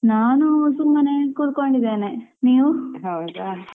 ನಾನು ಸುಮ್ಮನೆ ಕೂತ್ಕೊಂಡಿದೇನೆ ನೀವು?